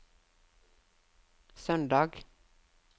søndag